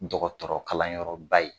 Dɔgɔtɔrɔkalanyɔrɔba in